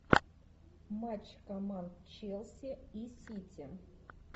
матч команд челси и сити